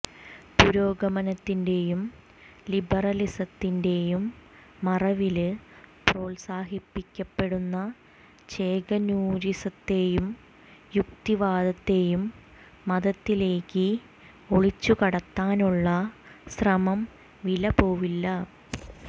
പുരോഗമനത്തിന്റെയും ലിബറലിസത്തിന്റെയും മറവില് പ്രോത്സാഹിപ്പിക്കപ്പെടുന്ന ചേകനൂരിസത്തെയും യുക്തിവാദത്തെയും മതത്തിലേക്ക് ഒളിച്ചുകടത്താനുള്ള ശ്രമം വിലപ്പോവില്ല